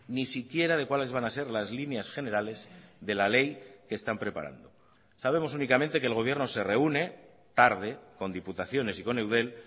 ni siquiera de cuáles van a ser las líneas generales de la ley que están preparando sabemos únicamente que el gobierno se reúne tarde con diputaciones y con eudel